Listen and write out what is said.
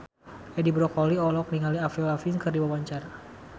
Edi Brokoli olohok ningali Avril Lavigne keur diwawancara